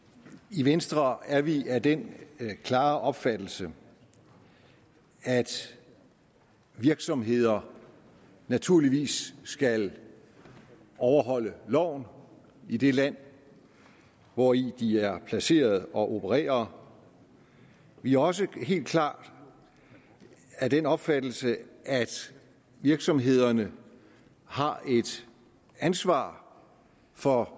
i venstre er vi af den klare opfattelse at virksomheder naturligvis skal overholde loven i det land hvori de er placeret og opererer vi er også helt klart af den opfattelse at virksomhederne har et ansvar for